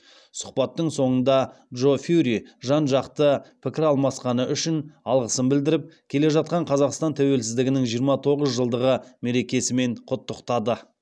сұхбаттың соңында джо фьюри жан жақты пікір алмасқаны үшін алғысын білдіріп келе жатқан қазақстан тәуелсіздігінің жиырма тоғыз жылдығы мерекесімен құттықтады